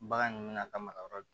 Bagan ninnu bɛna ka maga yɔrɔ